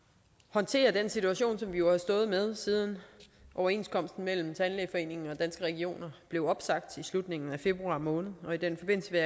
håndtere den situation som vi jo har stået med siden overenskomsten mellem tandlægeforeningen og danske regioner blev opsagt i slutningen af februar måned og i den forbindelse vil